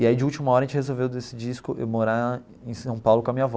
E aí, de última hora, a gente resolveu decidir esco morar em São Paulo com a minha avó.